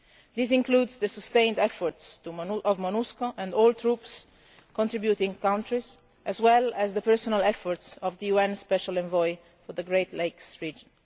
This includes the sustained efforts of MONUSCO and troop contributing countries as well as the personal efforts of the UN Special Envoy for the Great Lakes region.